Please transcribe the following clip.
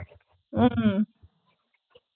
உம்